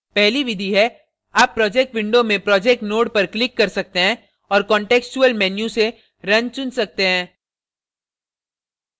पहली विधि है आप project window में project node पर click कर सकते हैं औऱ contextual menu से run run सकते हैं